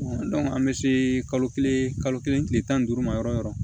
an bɛ se kalo kelen kalo kelen tile tan ni duuru ma yɔrɔ yɔrɔ yɔrɔ